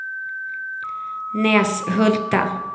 Näshulta